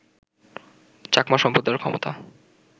চাকমা সম্প্রদায়ের ক্ষমতা